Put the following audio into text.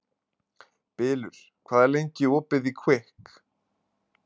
Bylur, hvað er lengi opið í Kvikk?